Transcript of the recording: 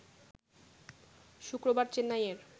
শুক্রবার চেন্নাইয়ের